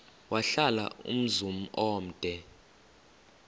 wahlala umzum omde